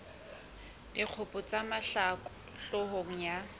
dikgopo tsa mahlaku hloohong ya